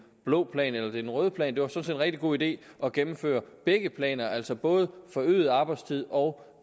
blå plan eller den røde plan det var sådan rigtig god idé at gennemføre begge planer altså både forøget arbejdstid og